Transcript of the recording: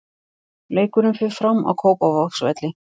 Leikurinn fer fram á Kópavogsvelli.